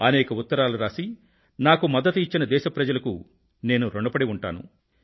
అనేక ఉత్తరాలు రాసి నాకు మద్దతు ఇచ్చిన దేశప్రజలకు నేను ఋణపడి ఉంటాను